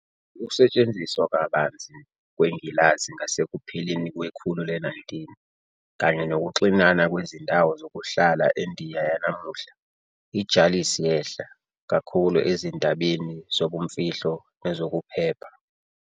Ngokusetshenziswa kabanzi kwengilazi ngasekupheleni kwekhulu le-19, kanye nokuxinana kwezindawo zokuhlala eNdiya yanamuhla, i- "jalis yehla" kakhulu ezindabeni zobumfihlo nezokuphepha.